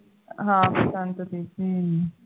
ਹਾਂ ਬਸੰਤ ਦੇ ਦਿਨ